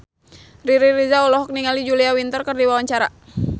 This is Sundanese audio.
Riri Reza olohok ningali Julia Winter keur diwawancara